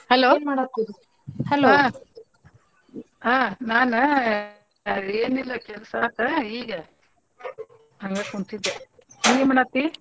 ಹಾ ನಾನ ಏನಿಲ್ಲಾ ಕೆಲ್ಸ ಆತ ಈಗ ಹಂಗ ಕುಂತಿದ್ದೆ ನೀ ಏನ್ಮಾಡಹತ್ತಿ?